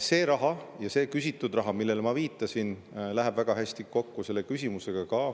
See raha, see küsitud raha, millele ma viitasin, läheb väga hästi kokku selle küsimusega.